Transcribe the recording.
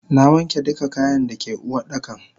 Nawanke duka kayan dake Uwardakan.